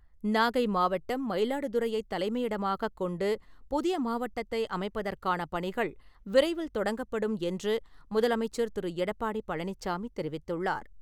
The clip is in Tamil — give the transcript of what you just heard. நாகை மாவட்டம் மயிலாடுதுறையை தலைமையிடமாகக் கொண்டு புதிய மாவட்டத்தை அமைப்பதற்கானபணிகள் விரைவில் தொடங்கப்படும் என்று முதலமைச்சர் திரு. எடப்பாடி பழனிச்சாமி தெரிவித்துள்ளார்.